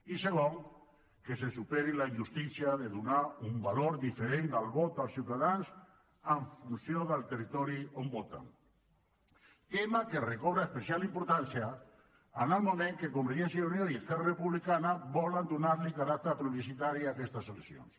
i segon que se superi la injustícia de donar un valor diferent al vot dels ciutadans en funció del territori on voten tema que recobra especial importància en el moment que convergència i unió i esquerra republicana volen donar caràcter plebiscitari a aquestes eleccions